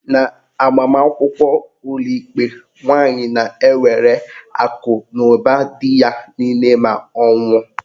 N'agbamakwụkwọ ụlọikpe, nwaanyi na-ewere akụnụba dị ya niile ma ọ nwụọ.